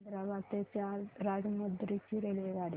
हैदराबाद ते राजमुंद्री ची रेल्वेगाडी